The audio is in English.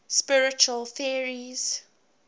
spiritual theories